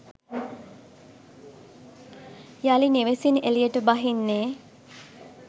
යළි නිවෙසින් එළියට බහින්නේ